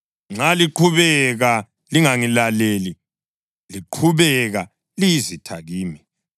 Nxa lingaqhubeka lingangilaleli, liqhubeka liyizitha kimi,